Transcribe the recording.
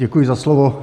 Děkuji za slovo.